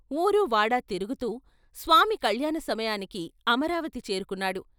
వూరూవాడా తిరుగుతూ స్వామి కల్యాణ సమయానికి అమరావతి చేరుకున్నాడు.